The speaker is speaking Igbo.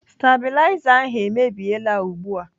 Stabiliza ahụ emebiela ugbu a.